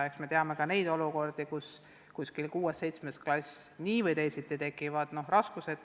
Eks me teame ka neid olukordi, kus 6.–7. klassis ikkagi tekivad raskused.